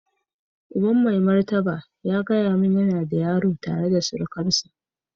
Uban mai martaba ya gaya min yana da yaro tare da surukarsa.